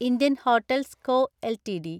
Indian hotels co LTD